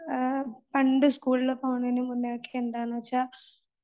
പണ്ട് സ്കൂള് പോകുന്നതിന് മുന്നേയൊക്കെ എന്താണെന്നു വെച്ചാ